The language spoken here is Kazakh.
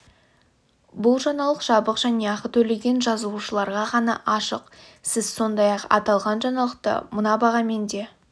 бұл жаңалық жабық және ақы төлеген жазылушыларға ғана ашық сіз сондай-ақ аталған жаңалықты мына бағамен де